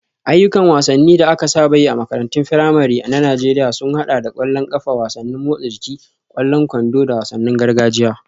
Ayyukan wasanni da aka saba yi a makarantun firamare na Najeriya sun haɗa da ƙwallon ƙafa, wasannin motsa jiki, ƙwallon kwando, da wasannin gargajiya.